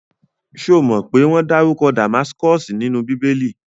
Ṣomo pé wọ́n dárúkọ Damaskosi nínú bíbélì?